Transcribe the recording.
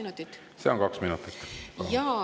Kas see on kaks minutit?